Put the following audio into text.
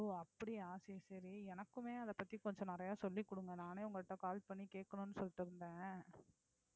ஓ அப்படியா சரி சரி எனக்குமே அத பத்தி கொஞ்சம் நிறைய சொல்லி கொடுங்க நானே உங்கள்ட்ட call பண்ணி கேட்கணும்னு சொல்லிட்டு இருந்தேன்